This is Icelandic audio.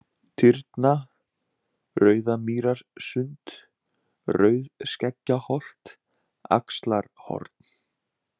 Tyrna, Rauðamýrarsund, Rauðskeggjaholt, Axlarhorn